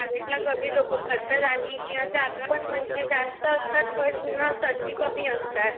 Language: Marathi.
प्रायव्हेटला कमी लोक भरतात आणि जागाही म्हणजे जास्त असतात पण त्यांना संधी कमी असतात.